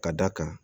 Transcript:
Ka d'a kan